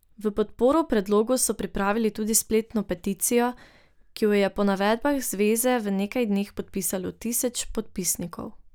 V podporo predlogu so pripravili tudi spletno peticijo, ki jo je po navedbah zveze v nekaj dneh podpisalo tisoč podpisnikov.